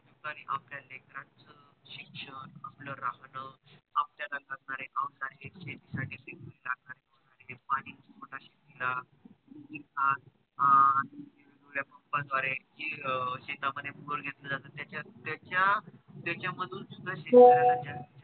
शेती साठी लागणारे पाणी pump द्वारे शेत मध्ये घेतलं जात त्याचा त्याचा मधुन सुद्धा शेतकऱ्याला